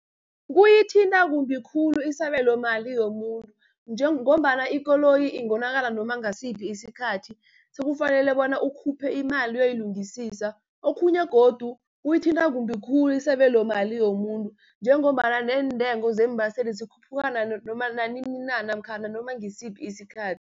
Kuyithinta kumbi khulu isabelomali yomuntu, ngombana ikoloyi ingonakala noma ngasiphi isikhathi, sekufanele bona ukhuphe imali uyoyilungisisa. Okhunye godu, kuyithinta kumbi khulu isabelomali yomuntu, njengombana neentengo zeembaseli zikhuphuka nanini na namkhana nanoma ngisiphi isikhathi.